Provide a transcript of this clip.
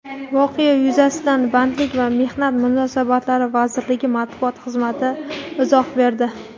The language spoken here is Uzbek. Voqea yuzasidan Bandlik va mehnat munosabatlari vazirligi matbuot xizmati izoh berdi.